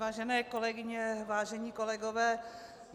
Vážené kolegyně, vážení kolegové.